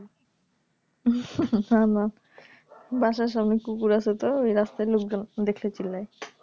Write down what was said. না না বাসার সামনে কুকুর আছে তো এই রাস্তায় লোক দেখলেই চিল্লায়